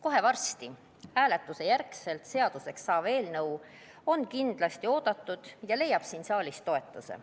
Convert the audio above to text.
Kohe varsti hääletuse järgselt seaduseks saav eelnõu on kindlasti oodatud ja leiab siin saalis toetuse.